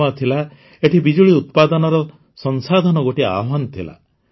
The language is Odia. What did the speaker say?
ସମୟ ଥିଲା ଏଠି ବିଜୁଳି ଉତ୍ପାଦନର ସଂସାଧନ ଗୋଟିଏ ଆହ୍ୱାନ ଥିଲା